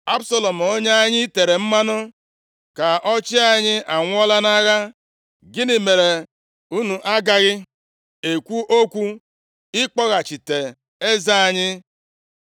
Absalọm, onye anyị tere mmanụ ka ọ chịa anyị anwụọla nʼagha. Gịnị mere, unu a gaghị ekwu okwu i kpọghachite eze anyị?